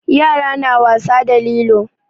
Yara na wasa da lilo.